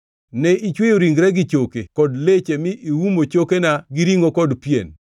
ne ichweyo ringra gi choke kod leche mi iumo chokena gi ringʼo kod pien?